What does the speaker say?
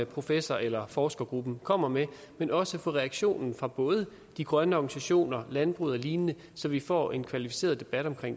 professor eller forskergruppen kommer med men også til reaktionen fra både de grønne organisationer landbruget og lignende så vi får en kvalificeret debat om